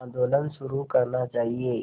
आंदोलन शुरू करना चाहिए